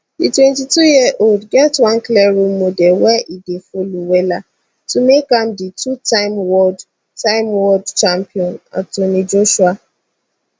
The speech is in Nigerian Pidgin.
di 22yearold get one clear role model wey e dey follow wella to make am di two time world time world champion anthony joshua